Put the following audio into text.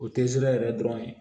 O te sira yɛrɛ dɔrɔn ye